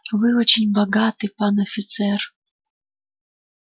вы очень богаты пан офицер